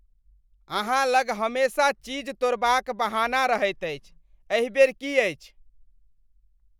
अहाँ लग हमेशा चीज तोड़बाक बहाना रहैत अछि। एहि बेर की अछि?